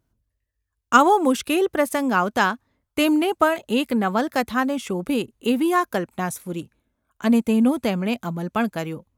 આવો મુશ્કેલ પ્રસંગ આવતાં તેમને પણ એક નવલકથાને શોભે એવી આ કલ્પના સ્ફુરી અને તેનો તેમણે અમલ પણ કર્યો.